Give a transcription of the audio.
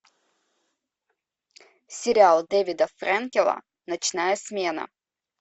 сериал дэвида фрэнкела ночная смена